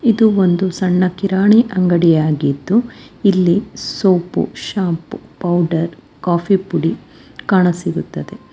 ಇದು ಒಂದು ಸಣ್ಣ ಕಿರಾಣಿ ಅಂಗಡಿ ಆಗಿದ್ದು ಇಲ್ಲಿ ಸೋಪು ಶಾಂಪೂ ಪೌಡರ್ ಕಾಫಿ ಪುಡಿ ಕಾಣಸಿಗುತ್ತದೆ.